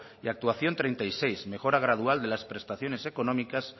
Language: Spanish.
y actuación treinta y seis mejora gradual de las prestaciones económicas